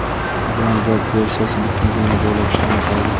Instagram veb-versiyasi butun dunyo bo‘ylab ishlamay qoldi.